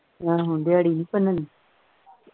ਆਹੋ ਦਿਹਾੜੀ ਨਹੀਂ ਭੰਨਣੀ